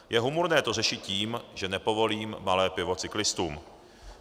Je humorné to řešit tím, že nepovolím malé pivo cyklistům.